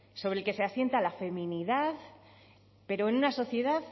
sobre el que se asienta la feminidad pero en una sociedad